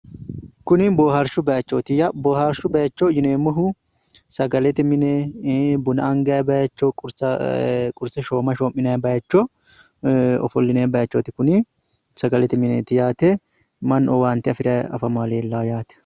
Kuni boohaarshu bayichooti ya. Boohaarshu baayicho yineemmohu sagalete mine buna angayi baayicho qurse shooma shoo'minayi baayicho, ofollinayi bayichooti kuni. Sagalete mineeti yaate. Mannu owaanta afirayi afamayi leellaa yaate.